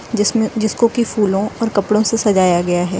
जिसमें जिसको की फूलों और कपड़ों से सजाया गया है।